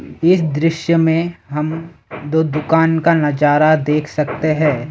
इस दृश्य में हम दो दुकान का नजारा देख सकते हैं।